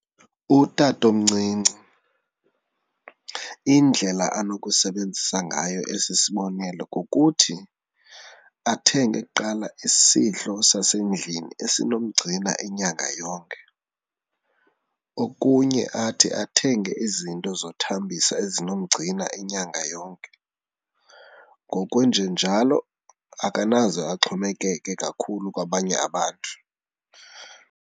Utatomncinci indlela anokusebenzisa ngayo esi sibonelelo kukuthi athenge kuqala isidlo sasendlini esinomgcina inyanga yonke. Okunye athi athenge izinto zothambisa ezinomgcina inyanga yonke, ngokwenjenjalo akanaze axhomekeke kakhulu kwabanye abantu.